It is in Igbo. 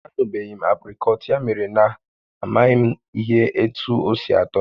A tanubeghị m apricot ya mere na m amaghị m ihe etu osi atọ